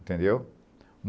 Entendeu?